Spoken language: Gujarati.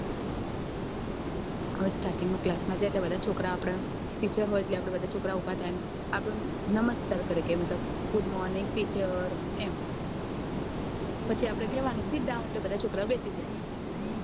starting ના અંદર જાય એટલે બધા છોકરા આપડા હામે teacher હોય એટલે બધા ઉભા થાય આપનું નમસ્કાર કરે કે મતલબ good morning teacher એમ એટલે આપડે કેવાનું sit down એટલે બધા બેસી જાય